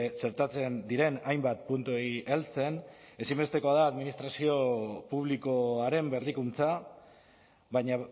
txertatzen diren hainbat puntuei heltzen ezinbestekoa da administrazio publikoaren berrikuntza baina